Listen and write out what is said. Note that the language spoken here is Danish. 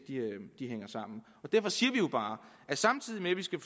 hænger sammen derfor siger vi jo bare at samtidig med at vi skal